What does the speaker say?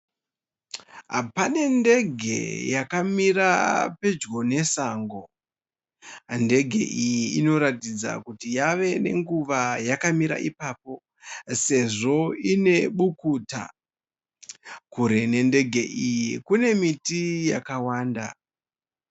Pane ndege yakamira pedyo nesango. Ndege iyi inoratidza kuti yavanenguva yakamira ipapo, sezvo ine bukuta. Kure nendege iyi kunemiti yakawanda.